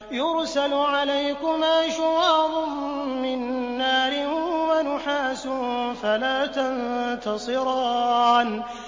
يُرْسَلُ عَلَيْكُمَا شُوَاظٌ مِّن نَّارٍ وَنُحَاسٌ فَلَا تَنتَصِرَانِ